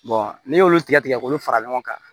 n'i y'olu tigɛ tigɛ k'olu fara ɲɔgɔn kan